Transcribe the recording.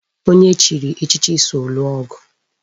Onye e chiri echichi so lụọ ọgụ